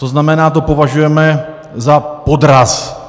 To znamená, to považujeme za podraz.